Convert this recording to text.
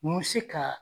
N bɛ se ka